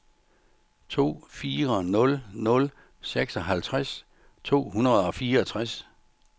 to fire nul nul seksoghalvtreds to hundrede og fireogtres